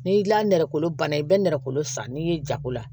Ni la nɛgɛkolo ban na i bɛ nɛrɛ san n'i ye jago la